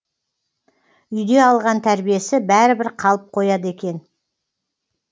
үйде алған тәрбиесі бәрібір қалып қояды екен